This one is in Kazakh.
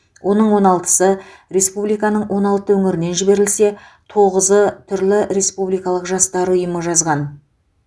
оның он алтысы республиканың он алты өңірінен жіберілсе тоғызы түрлі республикалық жастар ұйымы жазған